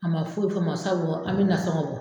A ma foyi tɔ n ma sabu an bɛ nasɔnɔgɔ bɔ: